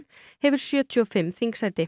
hefur sjötíu og fimm þingsæti